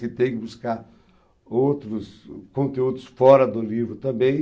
Ele tem que buscar outros conteúdos fora do livro também.